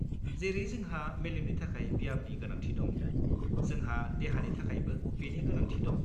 जेरै जोंहा मेलेमनि थाखाय ब्यामनि गोनांथि दं, जोंहा देहानि थाखायबो बेनि गोनांथि दं।